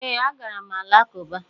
Ee, agara m alakụba.